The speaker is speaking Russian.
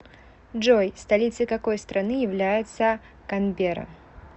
джой столицей какой страны является канберра